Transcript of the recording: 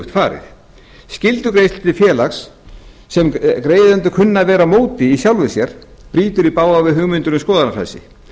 farið skyldugreiðslur til félags sem greiðendur kunna að vera á móti í sjálfu sér brýtur í bága við hugmyndir um skoðanafrelsi